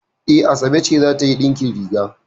E, Asabe ce za ta yi ɗinkin riga.